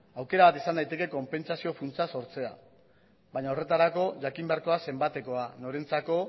aukera bat izan daiteke konpentsazio funtsa sortzea baina horretarako jakin beharko da zenbatekoa norentzako